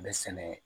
Bɛ sɛnɛ